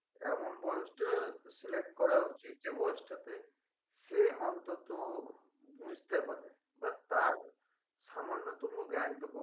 এমন বয়সটা select করা উচিত যে বয়সটাতে সে অন্তত বুঝতে পারে বা তার সামান্যতম জ্ঞানটুকু